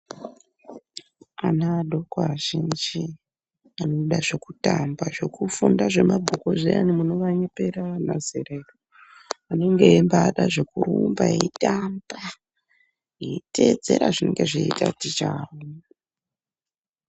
Ana adoko azhinji anoda zvekutamba zvekufunda zvemabhuku zviyani munovanyepera anazerera. Vanenge eimbada zvekurumba eitamba eitedzera zvinenge zviita ticha vavo.